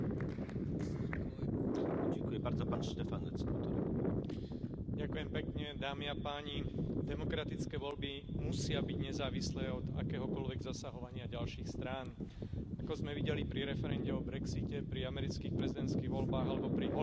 Pán predsedajúci, demokratické voľby musia byť nezávislé od akéhokoľvek zasahovania ďalších strán. Ako sme videli pri referende o brexite, pri amerických prezidentských voľbách alebo pri holandskom referende o asociačnej dohode s Ukrajinou,